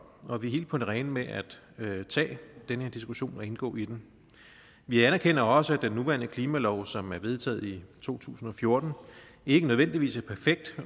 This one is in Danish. og vi er helt på det rene med at tage den her diskussion og indgå i den vi anerkender også at den nuværende klimalov som blev vedtaget i to tusind og fjorten ikke nødvendigvis er perfekt